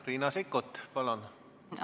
Riina Sikkut, palun!